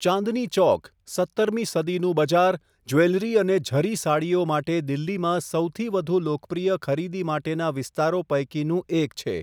ચાંદની ચોક, સત્તરમી સદીનું બજાર, જ્વેલરી અને ઝરી સાડીઓ માટે દિલ્હીમાં સૌથી વધુ લોકપ્રિય ખરીદી માટેના વિસ્તારો પૈકીનું એક છે.